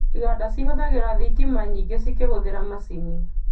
Iganda cīhũthagira thitima nyingĩ cĩkĩhũthĩra macini